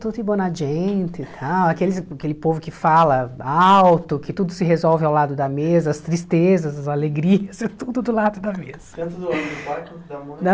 Tutti buona gente e tal, aqueles aquele povo que fala alto, que tudo se resolve ao lado da mesa, as tristezas, as alegrias, tudo do lado da mesa. Tanto do lado do pai quanto da mãe? Da